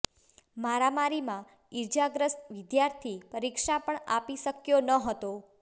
મારામારીમાં ઈજાગ્રસ્ત વિદ્યાર્થી પરીક્ષા પણ આપી શક્યો ન હતો